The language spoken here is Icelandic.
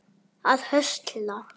að höstla